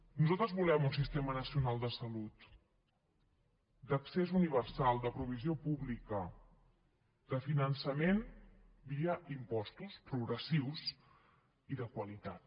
nosaltres volem un sistema nacional de salut d’accés universal de provisió pública de finançament via impostos progressius i de qualitat